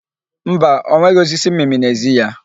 Mba, ọ nweghị osisi mmịmị n'ezi ya.